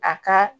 A ka